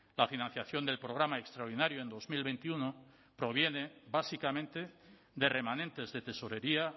la financiación del programa extraordinario en dos mil veintiuno proviene básicamente de remanentes de tesorería